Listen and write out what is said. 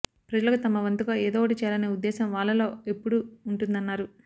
ప్రజలకు తమవంతుగా ఏదో ఒకటి చేయలనే ఉద్దేశం వాళ్లలో ఎప్పుడూ ఉంటుందన్నారు